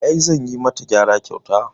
I, zanyi mata gyara kyauta